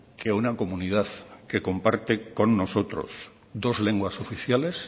que una comunidad que comparte con nosotros dos lenguas oficiales